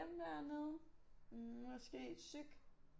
Dem dernede måske psyk